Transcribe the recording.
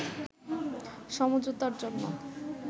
সমঝোতার জন্য